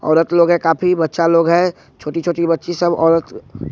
औरत लोग है काफी बच्चा लोग है छोटी छोटी बच्ची सब औरत--